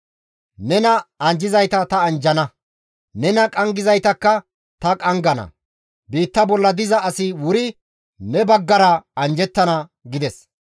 Nena anjjizayta ta anjjana; nena qanggizaytakka ta qanggana; biitta bolla diza asi wuri ne baggara anjjettana» gides.